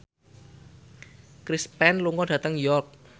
Chris Pane lunga dhateng York